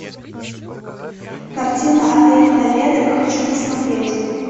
картина отель толедо хочу посмотреть